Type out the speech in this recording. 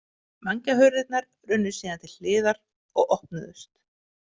Vængjahurðirnar runnu síðan til hliðar og opnuðust.